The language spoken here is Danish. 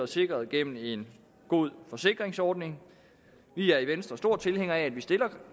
sikret gennem en god forsikringsordning vi er i venstre store tilhængere af at vi